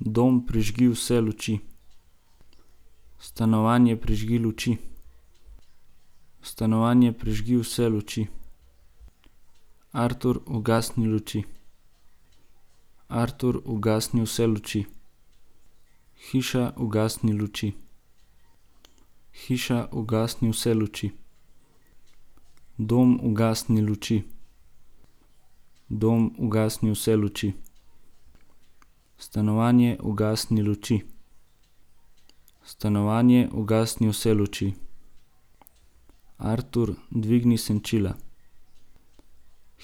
Dom, prižgi vse luči. Stanovanje, prižgi luči. Stanovanje, prižgi vse luči. Artur, ugasni luči. Artur, ugasni vse luči. Hiša, ugasni luči. Hiša, ugasni vse luči. Dom, ugasni luči. Dom, ugasni vse luči. Stanovanje, ugasni luči. Stanovanje, ugasni vse luči. Artur, dvigni senčila.